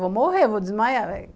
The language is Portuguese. Vou morrer, vou desmaiar?